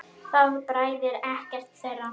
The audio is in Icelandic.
Það bræðir ekkert þeirra.